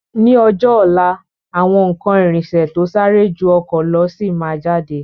Ni ọjọ́ ọ̀la, àwọn ikán irinsẹ̀ to sáré ju ọkọ̀ lọ sí máa jáde.